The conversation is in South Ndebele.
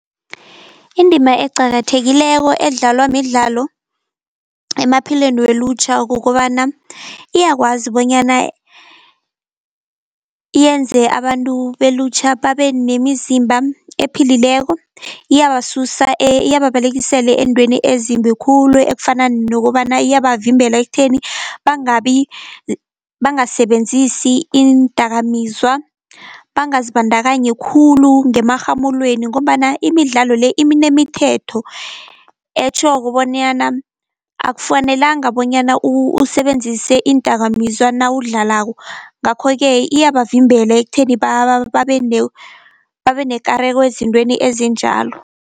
Indima eqakathekileko edlalwa midlalo emaphilweni welutjha kukobana iyakwazi bonyana yenze abantu belutjha babe nemizimba ephilileko. Iyabasusa iyababalekisela eentweni ezimbi khulu ekufana nokobana iyabavimbela ekutheni bangasebenzisi iindakamizwa, bangazibandakanyi khulu ngemarhamulweni, ngombana imidlalo le iminemithetho etjhoko bonyana akufanelanga bonyana usebenzise iindakamizwa nawudlalako. Ngakho-ke iyabavimbela ekutheni babe nekareko ezintweni ezinjalo.